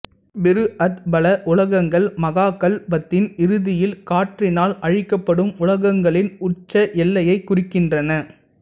பிருஹத்பல உலகங்கள் மகாகல்பத்தின் இறுதியில் காற்றினால் அழிக்கப்படும் உலகங்களின் உச்ச எல்லையை குறிக்கின்றன